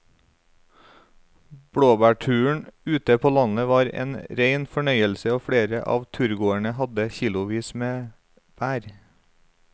Blåbærturen ute på landet var en rein fornøyelse og flere av turgåerene hadde kilosvis med bær.